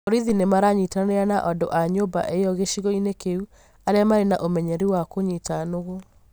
Borithi nĩ maranyitanĩra na andũ a nyũmba io gĩcigo inĩ kĩu arĩa marĩ na ũmenyeru wa kũnyiita nũgũ.